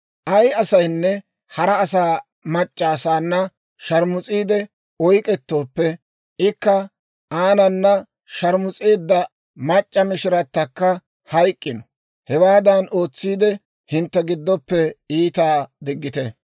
«Ay asaynne hara asaa mac'c'a asaana sharmus'iidde oyk'k'etooppe, ikka aanana sharmus'eedda mac'c'a mishiratakka hayk'k'ino. Hewaadan ootsiide, hintte giddoppe iitaa diggite.